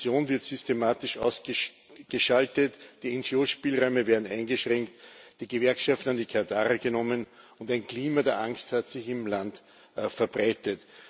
Opposition wird systematisch ausgeschaltet, die NGO Spielräume werden eingeschränkt, die Gewerkschaften an die Kandare genommen, und ein Klima der Angst hat sich im Land verbreitet.